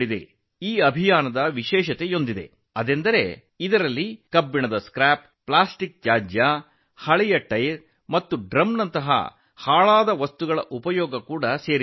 ಈ ಅಭಿಯಾನದ ವಿಶೇಷವೆಂದರೆ ಇದರಲ್ಲಿ ಕಬ್ಬಿಣದ ಗುಜರಿ ವಸ್ತು ಪ್ಲಾಸ್ಟಿಕ್ ತ್ಯಾಜ್ಯ ಹಳೆಯ ಟೈರ್ ಮತ್ತು ಡ್ರಮ್ಗಳಂತಹ ತ್ಯಾಜ್ಯವನ್ನು ಬಳಸಲಾಗುತ್ತದೆ